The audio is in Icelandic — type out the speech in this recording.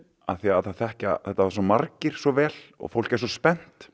af því að það þekkja þetta svo margir svo vel fólk er svo spennt